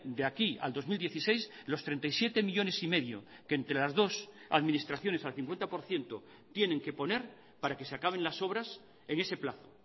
de aquí al dos mil dieciséis los treinta y siete millónes y medio que entre las dos administraciones al cincuenta por ciento tienen que poner para que se acaben las obras en ese plazo